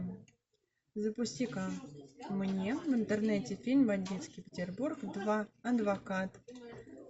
запусти ка мне в интернете фильм бандитский петербург два адвокат